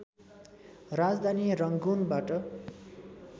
राजधानी रङ्गुन बाट